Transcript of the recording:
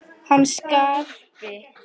Hann Skarpi?